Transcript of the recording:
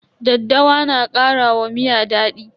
Daddawa na kara wa miya daɗi.